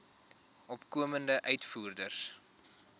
opkomende uitvoerders